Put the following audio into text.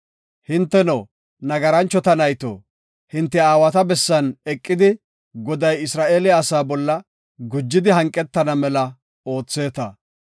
Hinteno, nagaranchota nayto hinte aawata bessan eqidi Goday Isra7eele asaa bolla gujidi hanqetana mela ootheeta.